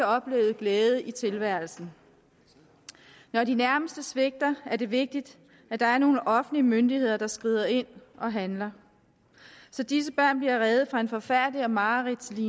oplevet glæde i tilværelsen når de nærmeste svigter er det vigtigt at der er nogle offentlige myndigheder der skrider ind og handler så disse børn bliver reddet fra en forfærdelig og mareridtsagtig